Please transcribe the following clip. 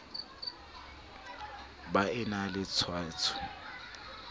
ba e na le tshwaetso